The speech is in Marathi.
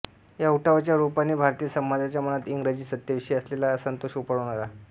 या उठावाच्या रूपाने भारतीय समाजाच्या मनात इंग्र्जी सत्तेविषयी असलेला असंतोष उफाळून आला